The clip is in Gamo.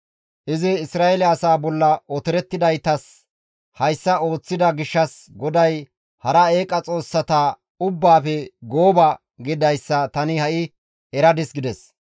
Izi Isra7eele asaa bolla otorettidaytas hayssa ooththida gishshas GODAY hara eeqa xoossata ubbaafe gooba gididayssa tani ha7i eradis» gides.